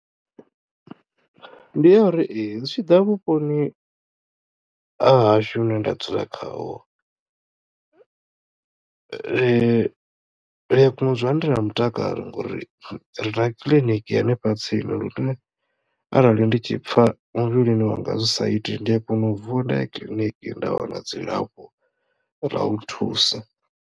Ndi ya uri ee zwi tshiḓa vhuponi ha hashu hune nda dzula khaho ri a kona u dzula ndi na mutakalo ngori rina kiḽiniki hanefha tsini lune arali ndi tshi pfha muvhilini wanga zwi sa iti ndi a kona u vuwa nda ya kiḽiniki nda wana dzilafho ḽa u thusa.